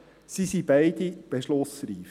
sie sind beide beschlussreif.